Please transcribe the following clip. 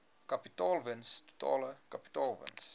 kapitaalwins totale kapitaalwins